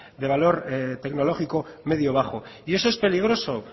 de valor tecnológico medio bajo y eso es peligroso